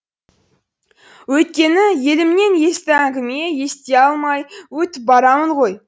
өйткені елімнен есті әңгіме ести алмай өтіп барамын ғой